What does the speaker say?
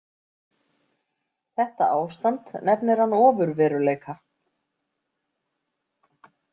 Þetta ástand nefnir hann ofurveruleika.